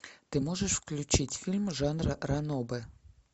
ты можешь включить фильм жанра ранобэ